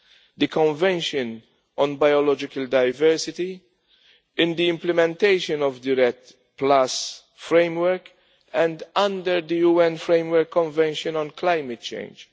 in the Convention on Biological Diversity, in the implementation of the REDD framework, and under the UN Framework Convention on Climate Change.